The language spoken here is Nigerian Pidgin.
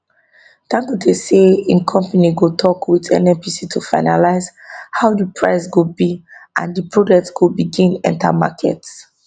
dangote say im company go tok wit nnpc to finalise how di price go be and di product go begin enta market